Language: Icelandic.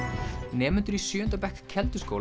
nemendur í sjöunda bekk